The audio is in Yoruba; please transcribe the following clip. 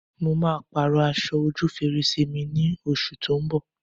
Mo máa Pààrọ̀ aṣọ ojú fèrèsé mi ní oṣù tó ń bọ̀